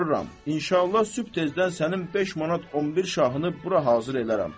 İnşallah sübh tezdən sənin 5 manat 11 şahını bura hazır edərəm.